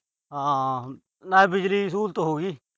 ਹਾਂ। ਨਾਲੇ ਬਿਜਲੀ ਦੀ ਸਹੂਲਤ ਹੋ ਗਈ।